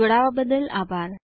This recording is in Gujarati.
જોડવા બદલ આભાર